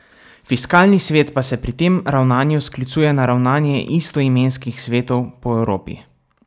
Fiskalni svet pa se pri tem ravnanju sklicuje na ravnanje istoimenskih svetov po Evropi.